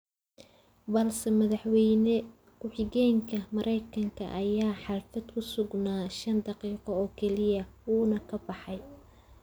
Balse Madaxweyne ku xigeenka Maraykanka ayaa xaflada ku sugnaa shan daqiiqo oo kaliya, wuuna ka baxay.